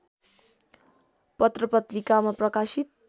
पत्रपत्रिकामा प्रकाशित